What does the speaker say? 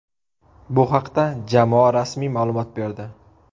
Bu haqda jamoa rasmiy ma’lumot berdi.